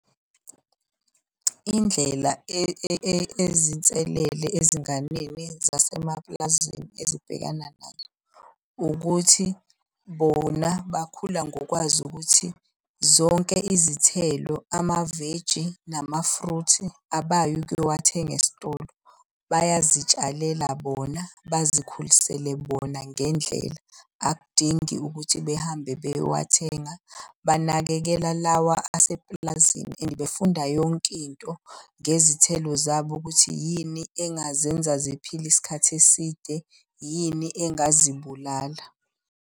Indlela ezinselele ezinganeni zasemapulazini ezibhekana nazo, ukuthi bona bakhula ngokwazi ukuthi zonke izithelo, ama-veggie nama-fruit abayi ukuyowathenga esitolo. Bayazi tshalela bona bazikhulisele bona ngendlela, akudingi ukuthi behambe beyowathenga. Banakekela lawa asepulazini and befunda yonke into ngezithelo zabo ukuthi yini engazenza ziphile isikhathi eside, yini engazibulala.